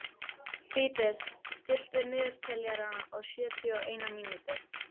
Fídes, stilltu niðurteljara á sjötíu og eina mínútur.